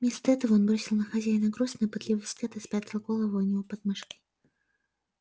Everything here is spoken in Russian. вместо этого он бросил на хозяина грустный пытливый взгляд и спрягал голову у него под мышкой